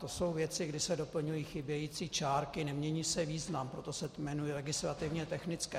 To jsou věci, kdy se doplňují chybějící čárky, nemění se význam, proto se jmenují legislativně technické.